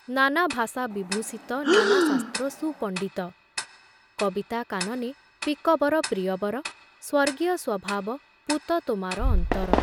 ନାନା ଭାଷା ବିଭୂଷିତ ନାନା ଶାସ୍ତ୍ର ସୁପଣ୍ଡିତ କବିତା କାନନେ ପିକବର ପ୍ରିୟବର ସ୍ଵର୍ଗୀୟ ସ୍ଵଭାବ ପୂତ ତୋମାର ଅନ୍ତର ।